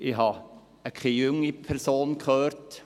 – Ich habe keine junge Person gehört.